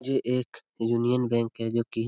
ये एक Union Bank है जो कि --